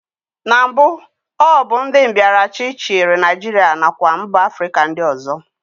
Na mbụ, ọ bụ ndị mbịaraachị chịrị Naijiria nakwa mba Afrịka ndị ọzọ